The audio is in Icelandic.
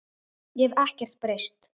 Ég hef ekkert breyst.